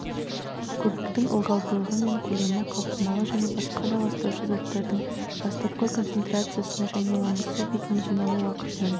көбіктің ылғалдылығы мен көлемі қалқымалы және басқа да ластаушы заттардың бастапқы концентрациясына және оның су бетіне жиналу уақытының